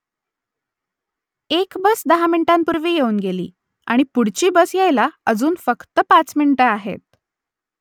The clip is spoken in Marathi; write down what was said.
एक बस दहा मिनिटांपूर्वी येऊन गेली आणि पुढची बस यायला अजून फक्त पाच मिनिटं आहेत